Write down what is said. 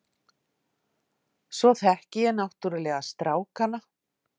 Svo þekki ég náttúrulega strákana.